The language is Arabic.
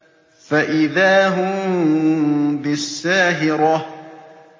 فَإِذَا هُم بِالسَّاهِرَةِ